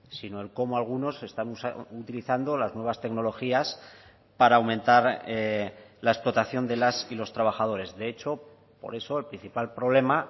sino el cómo algunos están utilizando las nuevas tecnologías para aumentar la explotación de las y los trabajadores de hecho por eso el principal problema